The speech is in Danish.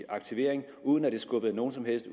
aktivering uden at det skubbede nogen som helst